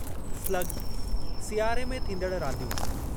slug– सियारे में थींदड़ रांदियूं